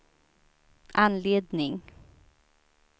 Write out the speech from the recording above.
anledning